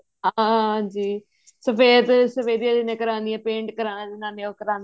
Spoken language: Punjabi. ਹਾਂਜੀ ਸ਼ਫ਼ੇਦ ਸਫੈਦੀਆਂ ਜਿਹਨੇ ਕਰਾਨੀਆਂ paint ਕਰਾਨਾ ਜਿਨ੍ਹਾਂ ਨੇ ਉਹ ਕਰਾਂਦੇ